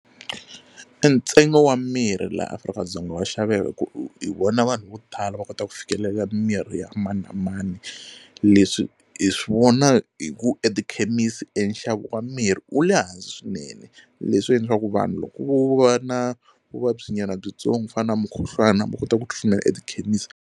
E ntsengo wa mirhi laha Afrika-Dzonga wa xaveka hi ku hi vona vanhu vo tala va kota ku fikelela mirhi ya mani na mani leswi hi swi vona hi ku etikhemisi e nxavo wa mirhi wu le hansi swinene leswi endlaku swa ku vanhu loko vo va na vuvabyi nyana byitsongo ku fana na mukhuhlwana va kota ku tshunela etikhemisi.